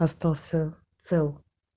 остался цел